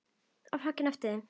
á eftir þeim.